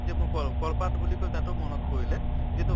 যে মই ক'লো কলপাত বুলি কৈ তাতো মনত পৰিলে যে এইটোক